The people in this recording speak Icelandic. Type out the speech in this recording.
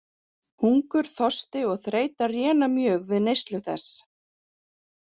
Hungur, þorsti og þreyta réna mjög við neyslu þess.